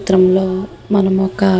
ఈ చిత్రం లో మనము ఒక--